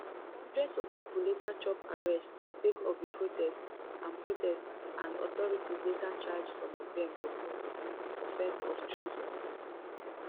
hundreds of pipo later chop arrests sake of di protest and protest and authorities later charge some of dem to court on offence of treason